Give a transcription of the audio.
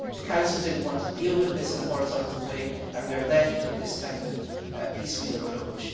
The Council did not want to deal with this in a horizontal way and we are left with this kind of piecemeal approach.